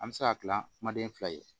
An bɛ se ka gilan kumaden fila ye